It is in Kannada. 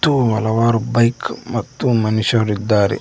ಗು ಹಲವಾರು ಬೈಕ್ ಮತ್ತು ಮನುಷ್ಯರಿದ್ದಾರೆ.